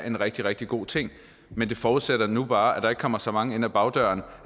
er en rigtig rigtig god ting men det forudsætter nu bare at der ikke kommer så mange ind ad bagdøren